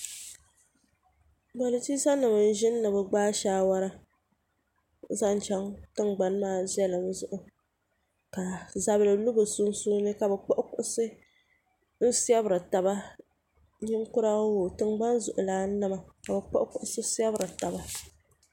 politisa nim n ʒini ni bi gbaai saawara zaŋ chɛŋ tingbani maa viɛlim zuɣu ka zabili lu bi sunsuuni ka bi kpuɣi kuɣusi n fiɛbiri taba ninkura oo tingbani zuɣulan nima ka bi kpuɣi kuɣusi fiɛbiri taba